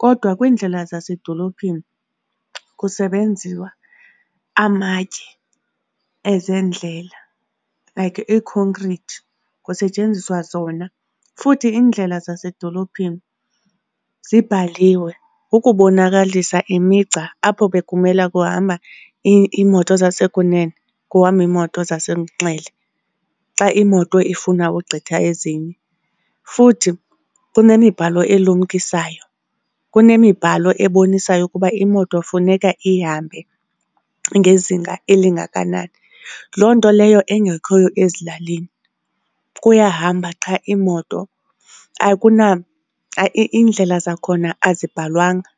kodwa kwiindlela zasedolophini kusebenziwa amatye ezendlela like i-concrete, kusetyenziswa zona. Futhi iindlela zasedolophini zibhaliwe ukubonakalisa imigca apho bekumele kuhamba iimoto zasekunene, kuhamba iimoto zasenxele xa imoto ifuna ugqitha ezinye. Futhi kunemibhalo elumkisayo, kunemibhalo ebonisayo ukuba imoto funeka ihambe ngezinga elingakanani. Loo nto leyo engekhoyo ezilalini, kuyahamba qha iimoto, iindlela zakhona azibhalwanga.